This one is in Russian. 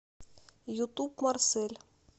ютуб марсель